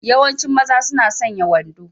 Yawancin mazan suna sanya wando.